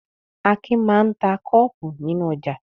Akin máa ń ta kọ́ọ́pù nínú ọjà.